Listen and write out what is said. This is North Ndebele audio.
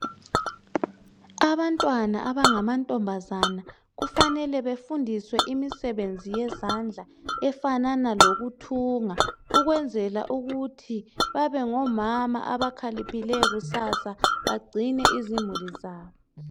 Abantwana abanga mantombazana kufanele befundiswe imisebenzi yezandla efanana lokuthunga ukwenzela ukuthi babengo mama abakhaliphileyo kusasa bagcine izimulu zabo